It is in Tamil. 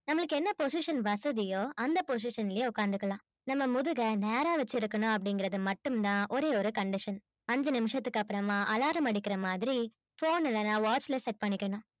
நம்மளுக்கு என்ன position வசதியோ அந்த position லயே உட்கார்ந்துக்கலாம் நம்ம முதுகை நேரா வச்சிருக்கணும் அப்படிங்கிறது மட்டும்தான் ஒரே ஒரு condition அஞ்சு நிமிஷத்துக்கு அப்புறமா alarm அடிக்கிற மாதிரி phone இல்லைன்னா watch ல set பண்ணிக்கணும்